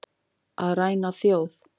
Að ræna þjóð